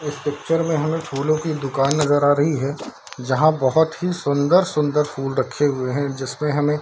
इस पिक्चर में हमें फूलो की दुकान नजर आ रही है जहां बहोत ही सुन्दर-सुन्दर फूल रखे हुए हैं जिसमे हमें --